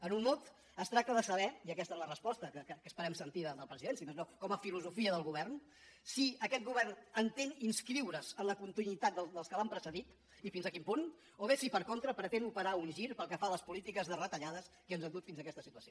en un mot es tracta de saber i aquesta és la resposta que esperem sentir del president si més no com a filosofia del govern si aquest govern entén inscriure’s en la continuïtat dels que l’han precedit i fins a quin punt o bé si per contra pretén operar un gir pel que fa a les polítiques de retallades que ens han dut fins a aquesta situació